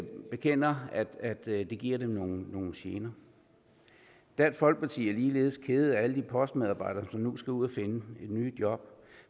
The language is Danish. bekender at det giver dem nogle gener dansk folkeparti er ligeledes kede af alle de postmedarbejdere som nu skal ud at finde nye jobs